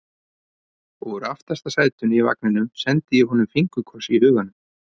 Og úr aftasta sætinu í vagninum sendi ég honum fingurkoss í huganum.